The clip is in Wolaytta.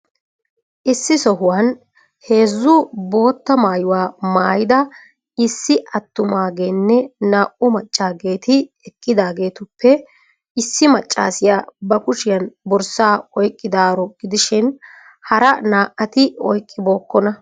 Issi sohuwan heezzu bootta maayuwa maayida issi attumaageenne naa"u maccaageeti eqqidageetuppe issi maccaasiya ba kushiyan borssaa oyqqidaaaro gidishin hara naa"ati oyqqibookkona.